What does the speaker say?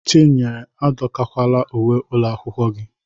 Chinyere, adọkakwala uwe ụlọ akwụkwọ gị!